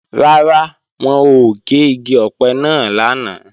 Rárá, wọn ò gé igi ọ̀pẹ náà lánàá